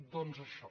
doncs això